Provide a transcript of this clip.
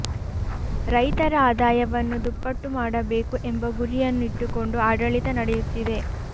ರೈತರ ಆದಾಯವನ್ನು ದುಪ್ಪಟ್ಟು ಮಾಡಬೇಕು ಎಂಬ ಗುರಿಯನ್ನು ಇಟ್ಟುಕೊಂಡು ಆಡಳಿತ ನಡೆಯುತ್ತಿದೆ